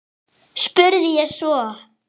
spurði ég svo.